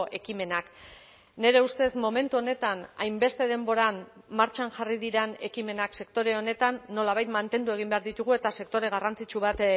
ekimenak nire ustez momentu honetan hainbeste denboran martxan jarri diren ekimenak sektore honetan nolabait mantendu egin behar ditugu eta sektore garrantzitsu bat